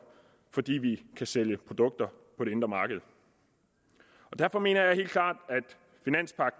fordi vi kan sælge produkter på det indre marked derfor mener jeg helt klart